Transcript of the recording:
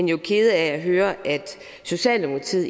jo kede af at høre at socialdemokratiet